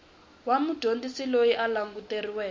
wa mudyondzisi loyi a languteriweke